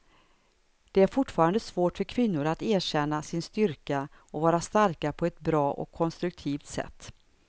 Det är fortfarande svårt för kvinnor att erkänna sin styrka och vara starka på ett bra och konstruktivt sätt.